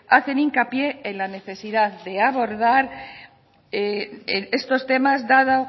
hacen hincapié en la necesidad de abordar estos temas dado